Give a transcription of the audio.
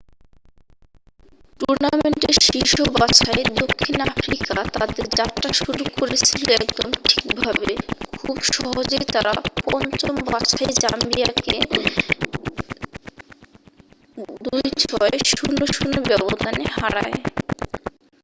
টুর্নামেন্টের শীর্ষ বাছাই দক্ষিণ আফ্রিকা তাদের যাত্রা শুরু করেছিল একদম ঠিকভাবে খুব সহজেই তারা পঞ্চম বাছাই জাম্বিয়াকে 26-00 ব্যবধানে হারায়